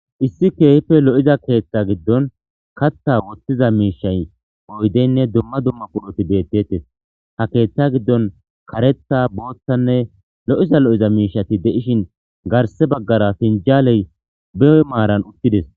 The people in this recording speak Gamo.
Issi keehife lo'iza keeththa giddon katha wothtiza miishay oydeynne dumma dumma puloti deettettes ha keeththa giddon karetha booththanne lo'iza lo'iza miishati de'ishin garse baggara pinjaaley beyy maaran uttides.